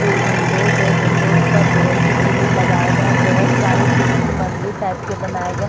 दो विंडोज़ हैं विंडोज पर लोहे की ग्रील लगाए गए है बहोत सारे तुलसी मंदिर टाइप के बनाए गए--